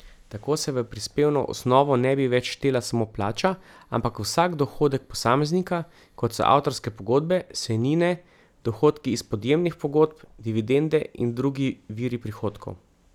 Tako se v prispevno osnovo ne bi več štela samo plača, ampak vsak dohodek posameznika, kot so avtorske pogodbe, sejnine, dohodki iz podjemnih pogodb, dividende in drugi viri prihodkov.